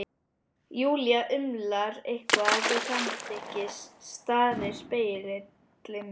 Júlía umlar eitthvað til samþykkis, starir enn í spegilinn.